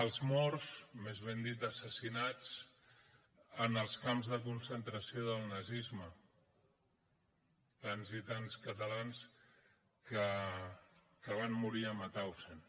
als morts més ben dit assassinats en els camps de concentració del nazisme tants i tants catalans que van morir a mauthausen